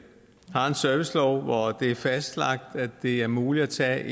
servicelov hvor det er fastlagt at det er muligt at tage